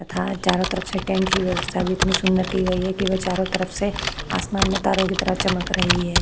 तथा चारों तरफ से टेंट की व्यवस्था भी इतनी सुंदर की गई है की वह चारों तरफ से आसमान में तारों की तरह चमक रही है।